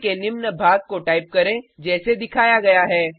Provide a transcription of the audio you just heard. code के निम्न भाग को टाइप करें जैसे दिखाया गया है